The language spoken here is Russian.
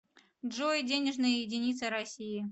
джой денежная единица россии